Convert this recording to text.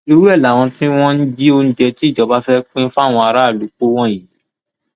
irú ẹ làwọn tí wọn jí oúnjẹ tí ìjọba fẹẹ pín fáwọn aráàlú kó wọnyí